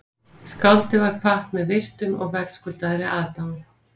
Skáldið var kvatt með virktum og verðskuldaðri aðdáun